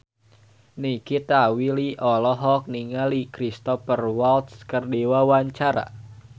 Nikita Willy olohok ningali Cristhoper Waltz keur diwawancara